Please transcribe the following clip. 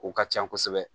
O ka ca kosɛbɛ